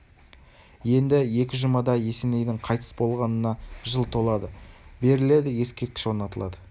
енді екі жұмада есенейдің қайтыс болғанына жыл толады беріледі ескерткіші орнатылады